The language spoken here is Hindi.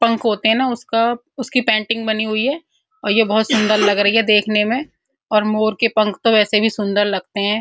पंख होते हैं न उसका उसकी पेंटिंग बनी हुई है और ये बोहोत सुन्दर लग रही है देखने में और मोर के पंख ऐसे भी सुंदर लगते हैं --